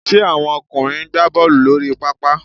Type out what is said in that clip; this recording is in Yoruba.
Ṣe àwọn ọkùnrin ń gbá Bọ́ọ̀lù lórí pápá?